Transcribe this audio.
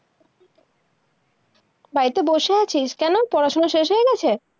বাড়িতে বসে আছিস, কেনো? পড়া-শুনা শেষ হয়ে গেছে?